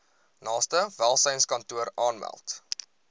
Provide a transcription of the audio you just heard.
naaste welsynskantoor aanmeld